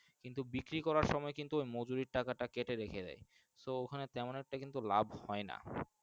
কিন্তু বিক্রি করার সময় কিন্তু ওর মজুরি টাকাটা কেটে রাখে দেয় তো ওখানে তেমন একটা কিন্তু লাভ হয় যান।